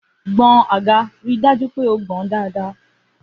Gboń àgá, ri dàjú pẹ ó gbon dàdá!